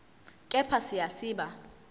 kepha siya siba